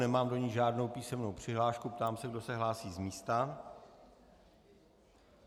Nemám do ní žádnou písemnou přihlášku, ptám se, kdo se hlásí z místa.